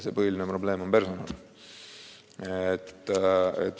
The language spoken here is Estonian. Põhiline probleem on personal.